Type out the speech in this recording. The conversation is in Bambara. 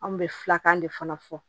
An bɛ filakan de fana fɔ